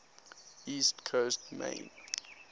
east coast maine